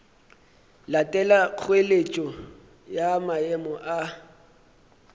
latela kgoeletšo ya maemo a